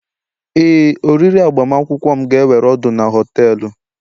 Éè, oriri agbamakwụkwọ m ga-ewere ọnọdụ na họtelu